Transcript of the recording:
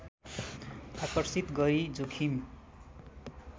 आकर्षित गरी जोखिम